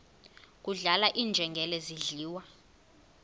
kudlala iinjengele zidliwa